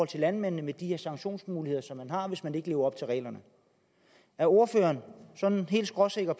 til landmændene med de her sanktionsmuligheder som vi har hvis man ikke lever op til reglerne er ordføreren sådan helt skråsikker